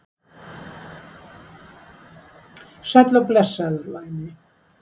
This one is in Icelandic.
Sæll og blessaður, væni.